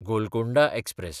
Golconda express